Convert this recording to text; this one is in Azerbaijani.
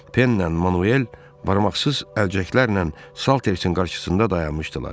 Penlə Manuel barmaqsız əlcəklərlə Saltersin qarşısında dayanmışdılar.